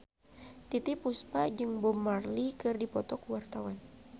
Titiek Puspa jeung Bob Marley keur dipoto ku wartawan